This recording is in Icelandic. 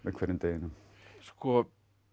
hverjum deginum sko